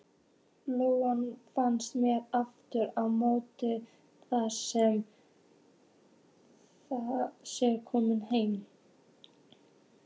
Lóan finnst mér aftur á móti að sé komin heim.